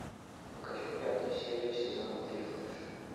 покажи пятую серию сезона три флэш